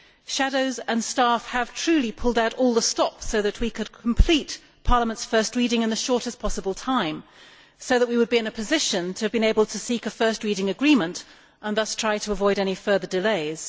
shadows and staff have truly pulled out all the stops so that we could complete Parliament's first reading in the shortest possible time, so as to be in a position to seek a first reading agreement and thus to avoid any further delays.